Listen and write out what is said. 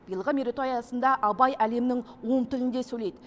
биылғы мерейтой аясында абай әлемнің он тілінде сөйлейді